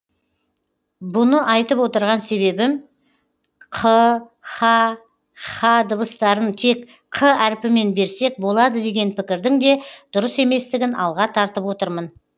бұны айтып отырған себебім қ х һ дыбыстарын тек қ әріпімен берсек болады деген пікірдің де дұрыс еместігін алға тартып отырмын